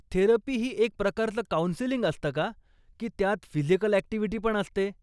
Therapy ही एक प्रकारचं काउंसलिंग असतं का, की त्यात फिजिकल ॲक्टिव्हिटी पण असते ?